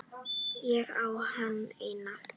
Ég á hana enn.